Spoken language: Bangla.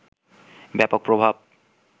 ব্যাপক প্রভাব